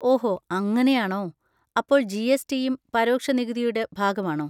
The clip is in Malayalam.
ഓഹോ അങ്ങനെയാണോ, അപ്പോൾ ജി. എസ്. ടി.യും പരോക്ഷ നികുതിയുടെ ഭാഗമാണോ?